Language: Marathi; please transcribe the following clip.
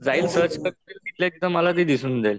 जाईल सर्च करेल तिथल्या तिथं मला ते दिसून जाईल.